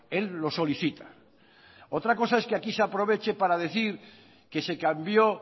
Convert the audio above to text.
él lo solicita otra cosa es que aquí se aproveche para decir que se cambió